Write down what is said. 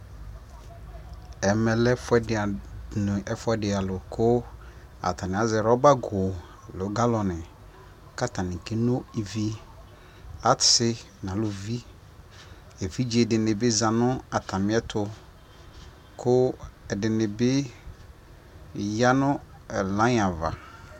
ɛmɛ lɛ ɛƒʋɛdi alʋ kʋ atani azɛ rubber kʋ nʋ galloni kʋ atani kɛnɔ ivi, asii nʋ alʋvi, ɛvidzɛ dini bi zanʋ atami ɛtʋ kʋ ɛdinibi yanʋ line aɣa